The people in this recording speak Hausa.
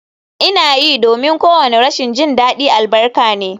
Ina yi, domin kowane rashin jin daɗi albarka ne